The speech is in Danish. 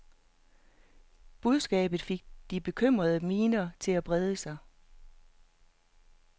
Budskabet fik de bekymrede miner til at brede sig.